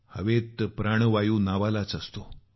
हवेत प्राणवायू नावालाच असतो